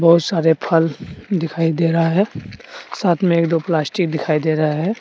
बहुत सारे फल दिखाई दे रहा है साथ में एक दो प्लास्टिक दिखाई दे रहा है।